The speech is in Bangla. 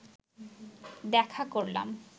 দেখা করলাম